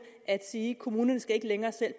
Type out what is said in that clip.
at sige at kommunerne ikke længere selv